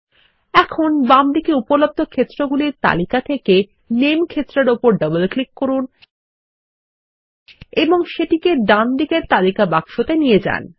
এখন বামদিকে উপলব্ধ ক্ষেত্রগুলির তালিকা থেকে নামে ক্ষেত্রের উপর ডবল ক্লিক করুন এবং সেটিকে ডানদিকের তালিকা বাক্সতে নিয়ে যান